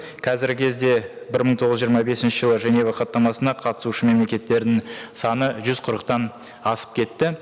қазіргі кезде бір мың тоғыз жүз жиырма бесінші жылы женева хаттамасына қатысушы мемлекеттерінің саны жүз қырықтан асып кетті